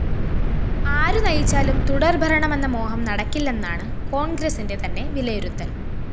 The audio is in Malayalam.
ആരു നയിച്ചാലും തുടര്‍ഭരണമെന്ന മോഹം നടക്കില്ലെന്നാണ് കോണ്‍ഗ്രസിന്റെ തന്നെ വിലയിരുത്തല്‍